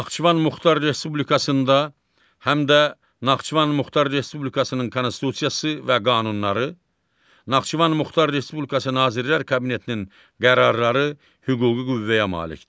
Naxçıvan Muxtar Respublikasında həm də Naxçıvan Muxtar Respublikasının Konstitusiyası və qanunları, Naxçıvan Muxtar Respublikası Nazirlər Kabinetinin qərarları hüquqi qüvvəyə malikdir.